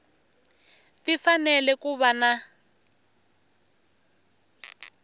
ti fanele ku va na